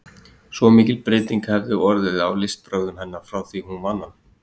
Svo mikil breyting hefði orðið á listbrögðum hennar frá því hún vann hann.